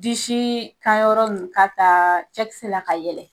Disi kan yɔrɔ ninnu k'a ta cɛkisɛ la ka yɛlɛ.